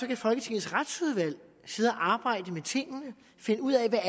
kan folketingets retsudvalg sidde og arbejde med tingene finde ud af hvad